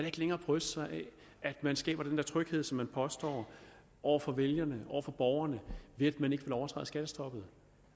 ikke længere bryste sig af at man skaber den der tryghed som man påstår over for vælgerne over for borgerne ved at man ikke vil overtræde skattestoppet